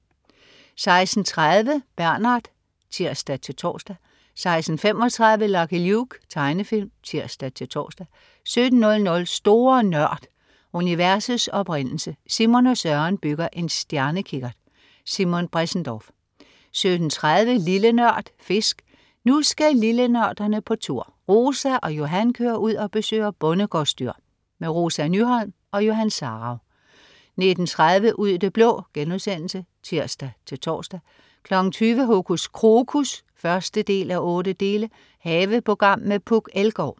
16.30 Bernard (tirs-tors) 16.35 Lucky Luke. Tegnefilm (tirs-tors) 17.00 Store Nørd. Universets oprindelse. Simon og Søren bygger en stjernekikkert. Simon Bressendorf 17.30 Lille Nørd. Fisk. Nu skal lillenørderne på tur! Rosa og Johan kører ud og besøger bondegårdsdyr. Rosa Nyholm og Johan Sarauw 19.30 Ud i det blå* (tirs-tors) 20.00 Hokus Krokus 1:8. Haveprogram med Puk Elgård